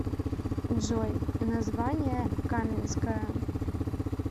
джой название каменское